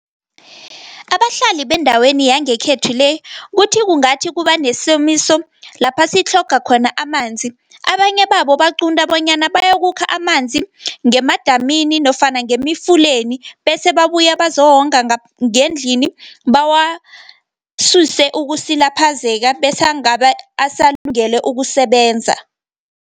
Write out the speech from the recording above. Abahlali bendaweni yangekhethu le, kuthi kungathi kubanesomiso, lapha sitlhoga khona amanzi. Abanye babo baqunda bonyana bayokukha amanzi ngemadamina nofana ngemifuleni, bese babuye bazowonga ngendlini, bawasuse ukusilaphazeka, bese asalungele ukusebenza.